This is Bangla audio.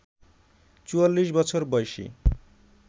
৪৪ বছর বয়সী